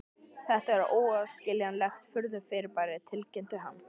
Þetta er óskiljanlegt furðufyrirbæri tilkynnti hann.